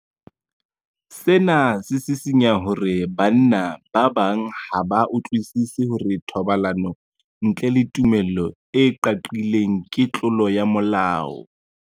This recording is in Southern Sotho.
Sena se sisinya hore banna ba bang ha ba utlwisisi hore thobalano ntle le tumello e qaqileng ke tlolo ya molao.